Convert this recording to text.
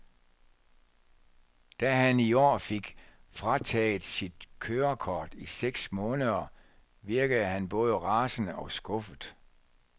Da han i år fik frataget sit kørekort i seks måneder, virkede han både rasende og skuffet.